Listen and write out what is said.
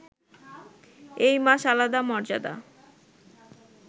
এই মাস আলাদা মর্যাদা